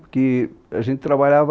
Porque a gente trabalhava...